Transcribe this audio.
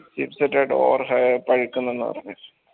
chipset അ door പറഞ്ഞ്